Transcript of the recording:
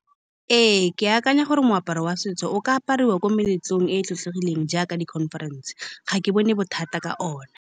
Ee, ke akanya gore moaparo wa setso o ka apariwa ko meletlong e e tlotlegileng jaaka di-conference. Ga ke bone bothata ka one.